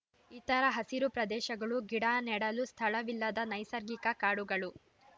ಇತರ ಹಸಿರು ಪ್ರದೇಶಗಳು ಗಿಡ ನೆಡಲು ಸ್ಥಳವಿಲ್ಲದ ನೈಸರ್ಗಿಕ ಕಾಡುಗಳು